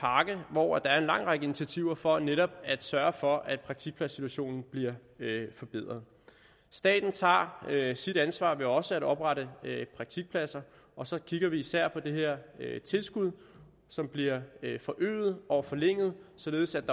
hvor der er en lang række initiativer for netop at sørge for at praktikpladssituationen bliver forbedret staten tager sit ansvar ved også at oprette praktikpladser og så kigger vi især på det her tilskud som bliver forøget og forlænget således at